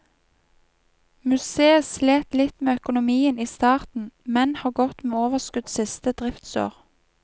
Museet slet litt med økonomien i starten, men har gått med overskudd siste driftsår.